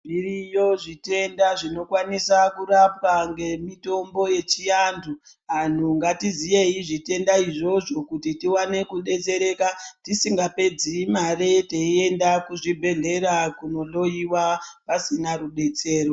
Zviriyo zvitenda zvinokwanisa kurapwa ngemitombo yechiantu. Anhu ngatiziyei zvitenda izvozvo kuti tiwane kudetsereka, tisingapedzi mare teienda kuzvibhedhlera kunohloiwa, pasina rudetsero.